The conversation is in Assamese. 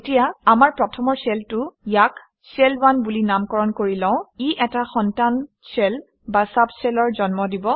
এতিয়া আমাৰ প্ৰথমৰ শ্বেলটো - ইয়াক শেল 1 বুলি নামকৰণ কৰি লওঁ ই এটা সন্তান শ্বেল বা চুব shell অৰ জন্ম দিব